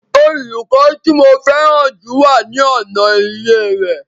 Olùkọ́ tí mo fẹ́ràn jù wà ní ọ̀nà ilé rẹ̀